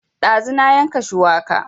Ɗazu na yanka shuwaka